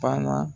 Banna